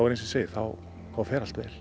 þá fer allt vel